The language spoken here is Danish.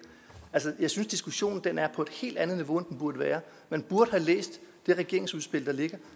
altså jeg synes diskussionen er på et helt andet niveau end den burde være man burde have læst det regeringsudspil der ligger